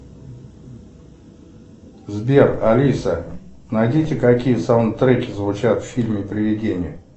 сбер алиса найдите какие саундтреки звучат в фильме приведение